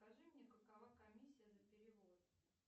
скажи мне какова комиссия за перевод